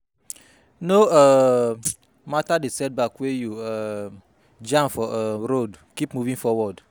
No um mata di setback wey you um jam for um road, kip moving forward